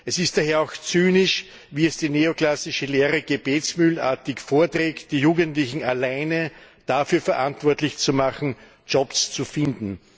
Es ist daher auch zynisch, wie es die neoklassische Lehre gebetsmühlenartig vorträgt, die Jugendlichen alleine dafür verantwortlich zu machen, Jobs zu finden.